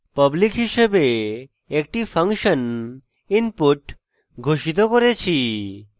public হিসাবে একটি function input ঘোষিত করেছি